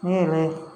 Ne yɛrɛ